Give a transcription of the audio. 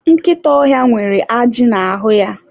Nkịta ọhịa nwere ajị n'ahụ ya.